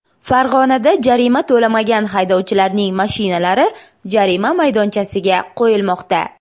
Farg‘onada jarima to‘lamagan haydovchilarning mashinalari jarima maydonchasiga qo‘yilmoqda.